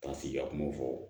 Ka sigi ka kuma fɔ